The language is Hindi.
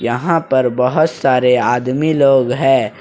यहां पर बहोत सारे आदमी लोग हैं।